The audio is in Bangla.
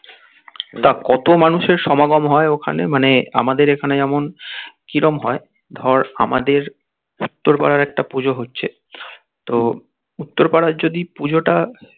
তা কত মানুষের সমাগম হয় ওখানে মানে আমাদের এখানে যেমন কিরম হয় যেমন ধর আমাদের উত্তর পাড়ার একটা পুজো হচ্ছে তো উত্তর পাড়ার যদি পুজোটা